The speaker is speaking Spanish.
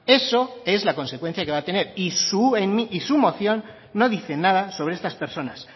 eso es la consecuencia que va a tener y en su moción no dice nada sobre estas personas